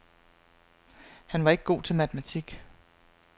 Han var ikke god til matematik.